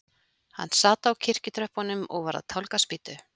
Hann sat á kirkjutröppunum og var að tálga spýtu.